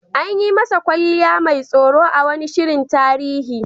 An yi masa kwalliya mai tsoro a wani shirin tarihi.